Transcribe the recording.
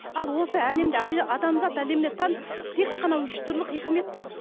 ал осы әлемде адамзат әлеміне тән тек қана үш түрлі хикмет бар